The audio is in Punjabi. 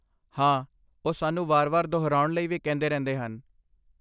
ਹਾਂ, ਉਹ ਸਾਨੂੰ ਵਾਰ ਵਾਰ ਦੁਹਰਾਉਣ ਲਈ ਕਹਿੰਦੇ ਰਹਿੰਦੇ ਹਨ